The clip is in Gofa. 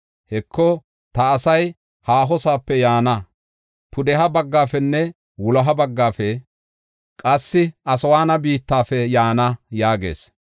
Heko, ta asay haahosoope yaana: pudeha baggaafenne wuloha baggafe, qassi Aswaana biittafe yaana” yaagees.